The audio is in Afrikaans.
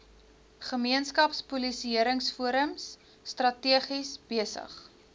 gemeenskapspolisieringsforums strategies besig